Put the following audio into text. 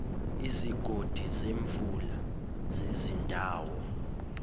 izigodi zemvula zezindawo